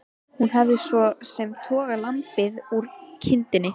Hún hafði svo sem togað lambið úr kindinni.